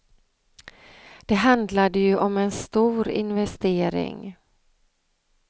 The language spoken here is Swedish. Det handlade ju om en stor investering.